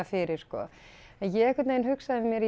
fyrir sko en ég einhvern veginn hugsaði með mér